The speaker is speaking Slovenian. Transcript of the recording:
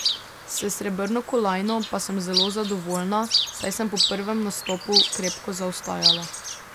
S srebrno kolajno pa sem zelo zadovoljna, saj sem po prvem nastopu krepko zaostajala.